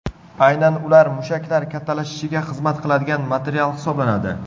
Aynan ular mushaklar kattalashishiga xizmat qiladigan material hisoblanadi.